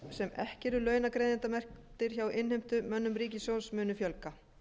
sem ekki eru launagreiðendamerktir hjá innheimtumönnum ríkissjóðs muni fjölga